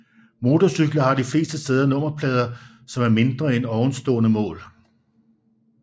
Motorcykler har de fleste steder nummerplader som er mindre end ovenstående mål